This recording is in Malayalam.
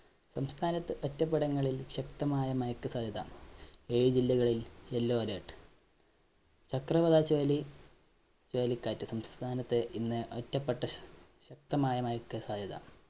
സംസ്ഥാനത്ത് ഒറ്റപെടുന്നങ്ങളില്‍ ശക്തമായ മഴക്ക് സാധ്യത. ഏഴ് ജില്ലകളില്‍ yellow alert. ചക്രവാത ചുഴലി ചുഴലികാറ്റ് സംസ്ഥാനത്ത് ഇന്ന് ഒറ്റപെട്ട ശശക്തമായ മഴയ്ക്ക് സാധ്യത.